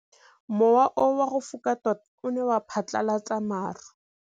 Mowa o wa go foka tota o ne wa phatlalatsa maru.